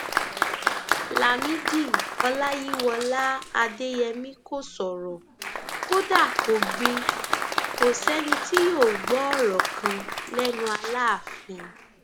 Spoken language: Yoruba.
lámìdí ọláyíwọlá adéyẹmi kò sọrọ kódà kó gbìn kò sẹni tí yóò gbọ ọrọ kan lẹnu aláàfin